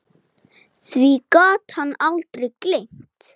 Því gat hann aldrei gleymt.